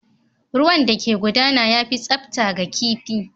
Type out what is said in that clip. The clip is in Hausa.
Ruwan da ke gudana ya fi tsafta ga kifi